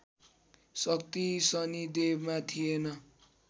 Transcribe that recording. शक्ति शनिदेवमा थिएन